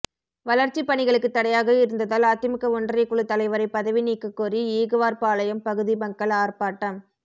வளர்ச்சி பணிகளுக்கு தடையாக இருந்ததால் அதிமுக ஒன்றியக்குழு தலைவரை பதவி நீக்கக்கோரி ஈகுவார்பாளையம் பகுதி மக்கள் ஆர்ப்பாட்டம்